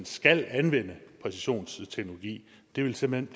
skal anvende præcisionsteknologi det ville simpelt